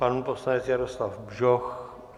Pan poslanec Jaroslav Bžoch?